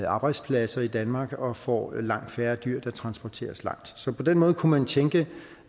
arbejdspladser i danmark og får langt færre dyr der transporteres langt så på den måde kunne man tænke